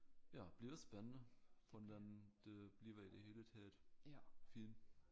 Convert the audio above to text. Ja bliver det spændende hvordan det bliver i det hele taget film